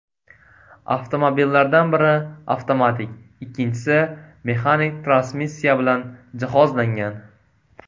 Avtomobillardan biri avtomatik, ikkinchisi mexanik transmissiya bilan jihozlangan.